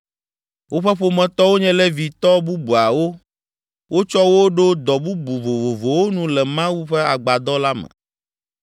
Woƒe ƒometɔwo nye Levitɔ bubuawo. Wotsɔ wo ɖo dɔ bubu vovovowo nu le Mawu ƒe agbadɔ la me.